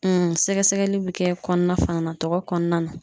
sɛgɛsɛgɛli bi kɛ kɔnɔna fana tɔgɔ kɔnɔna na